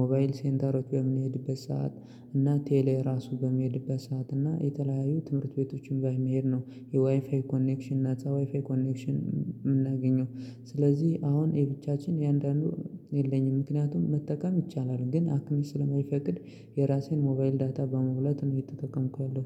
ሞባይል ሴንተሮች በምንሄድበት ሰዓት እና ቴሌ ራሱ በምንሄድበት ሰዓት እና የተለያዩ ትምህርት ቤቶችን ላይ መሄድ ነው። የዋይፋይ ኮኔክሽን እና ዋይፋይ ኮኔክሽን የምናገኘው ስለዚህ አሁን የብቻችን የአንዳንዱ የለኝም ምክንያቱም መጠቀም ይቻላል ግን አክሚስ ስለማይፈቅድ የራሴን ሞባይል ዳታ በመብላት ነው የተጠቀምኩት